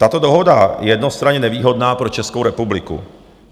Tato dohoda je jednostranně nevýhodná pro Českou republiku.